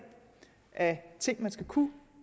af ting man skal kunne